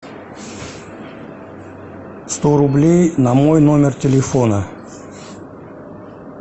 сто рублей на мой номер телефона